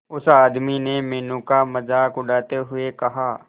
उस आदमी ने मीनू का मजाक उड़ाते हुए कहा